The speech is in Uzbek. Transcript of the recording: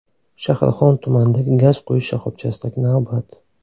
Shahrixon tumanidagi gaz quyish shoxobchasidagi navbat.